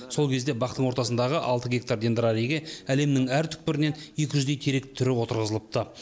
сол кезде бақтың ортасындағы алты гектар дендрариге әлемнің әр түкпірінен екі жүздей терек түрі отырғызылыпты